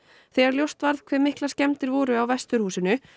þegar ljóst varð hve miklar skemmdir voru á vesturhúsinu